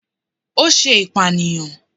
O ṣe ipaniyan